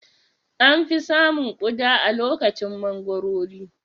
An fi samun Ƙuda a lokacin mangoro